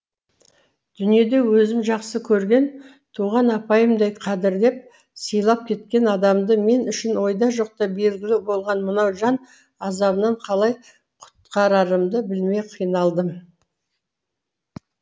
дүниеде өзім жақсы көрген туған апайымдай қадірлеп сыйлап кеткен адамды мен үшін ойда жоқта белгілі болған мынау жан азабынан қалай құтқарарымды білмей қиналдым